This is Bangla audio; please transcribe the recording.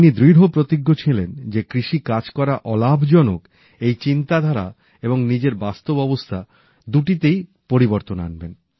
তিনি দৃঢ় প্রতিজ্ঞ ছিলেন যে কৃষি কাজ করা অলাভজনক এই চিন্তাধারা এবং নিজের বাস্তব অবস্থা দুটিতেই পরিবর্তন আনবেন